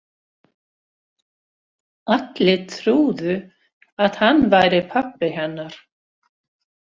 Allir trúðu að hann væri pabbi hennar.